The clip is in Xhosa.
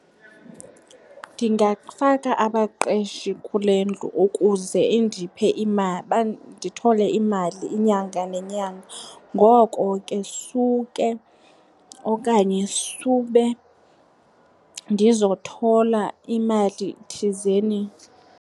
Ndingafaka abaqeshi kule ndlu ukuze indiphe , ndithole imali inyanga nenyanga. Ngoko ke suke okanye sube ndizothola imali thizeni.